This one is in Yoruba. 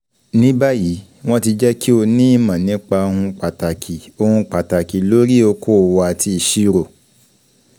Ní báyìí, wọ́n ti jẹ́ kí o ní ìmọ̀ nípa ohun pàtàkì ohun pàtàkì lórí okoòwò àti ìṣirò.